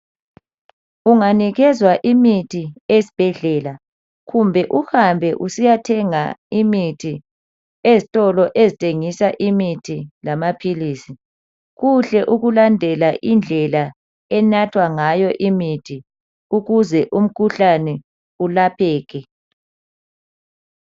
Unganikezwa imithi esibhedlela kumbe uhambe usiya thenga imithi ezitolo ezithengisa imithi lamaphilisi, kuhke ukulandela indlela enathwa ngayo imithi ukuze umkhuhlane ulapheke.